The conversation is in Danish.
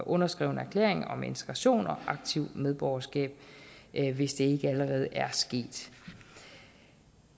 underskreven erklæring om integration og aktivt medborgerskab hvis det ikke allerede er sket